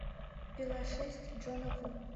пила шесть джона ву